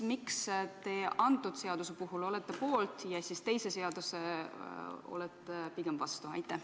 Miks te antud seaduse puhul olete poolt, teise seaduse puhul olete pigem vastu?